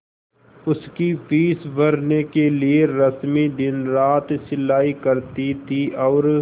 उसकी फीस भरने के लिए रश्मि दिनरात सिलाई करती थी और